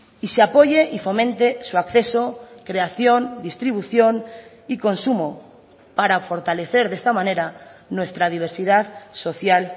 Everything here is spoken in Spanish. y se apoye y fomente su acceso creación distribución y consumo para fortalecer de esta manera nuestra diversidad social